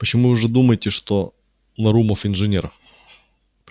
почему же вы думаете что нарумов инженер